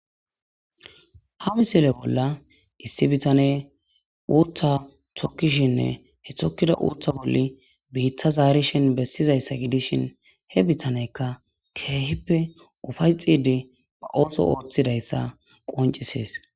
Ha misile bolla issi bitane uuttha thokkishinne he thokkida uutha bolli biitta zaarishin bessizayssa gidishin he bitaneykka keehippe ufay xidi ba ooso ooththidayssa qoncisees.